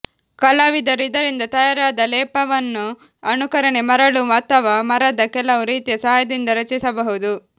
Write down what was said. ಕಲಾವಿದರು ಇದರಿಂದ ತಯಾರಾದ ಲೇಪವನ್ನು ಅನುಕರಣೆ ಮರಳು ಅಥವಾ ಮರದ ಕೆಲವು ರೀತಿಯ ಸಹಾಯದಿಂದ ರಚಿಸಬಹುದು